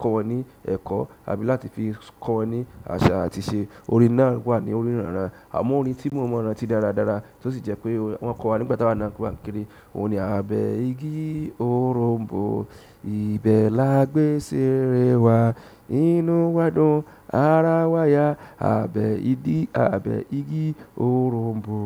kọ́ wọn ní ẹ̀kọ́ àbí láti fi kọ́ ní àṣà àti ìṣe. Orin náà wà ní orin ìrán àmọ́ orin tí mo mọ̀ràn ti dáradára tí ó sì jẹ́ pé wọ́n kọ́ wa nígbà tí a wà ní ọmọ kékeré òun ni, àbẹ̀ igi òrom̀bó, ibẹ̀ la gbé sèèrè wa, inú wa dùn, ara wa yà, àbẹ̀ igi òrom̀bó.